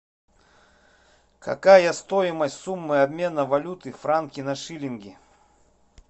какая стоимость суммы обмена валюты франки на шиллинги